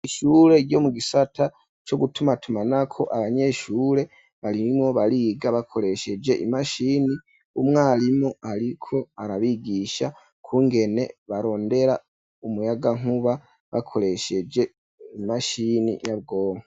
Ishure ryo mu gisata co gutuma tumanako, abanyeshure barimwo bariga bakoresheje imashini, umwarimu ariko arabigisha kungene barondera umuyagankuba bakoresheje imashini nyabwoba.